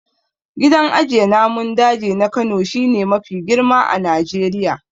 Gidan ajiye namun daji na Kano shi ne mafi girma a Najeriya.